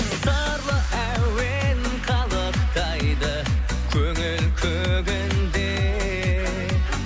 сырлы әуен қалықтайды көңіл көгінде